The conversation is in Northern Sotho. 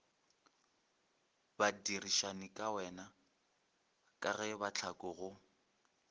badirišanikawena ka ge mahlaku go